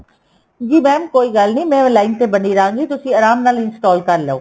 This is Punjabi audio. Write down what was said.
ਜੀ mam ਕੋਈ ਗੱਲ ਨੀ ਮੈਂ line ਬਣੀ ਰਹਾਗੀ ਤੁਸੀਂ ਆਰਾਮ ਨਾਲ install ਕਰਲੋ